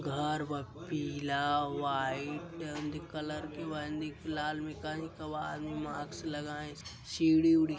घर बा पीला व्हाइट कलर में लाल कई आदमी मास्क लगाए सब सीड़ी उड़ी --